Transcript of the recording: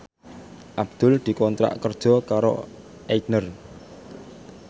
Abdul dikontrak kerja karo Aigner